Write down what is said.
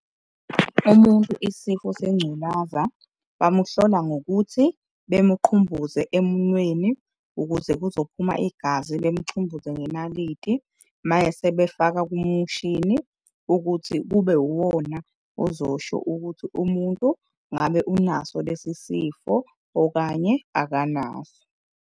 Umuntu isifo sengculaza bamuhlola ngokuthi bemuqhumbuze emunweni ukuze kuzophuma igazi, bemchumbuze ngenaliti. Mese befaka kumushini ukuthi kube uwona ozosho ukuthi umuntu ngabe unaso lesi sifo okanye akanaso.